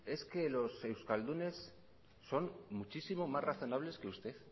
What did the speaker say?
es que los euskaldunes son muchísimo más razonables que usted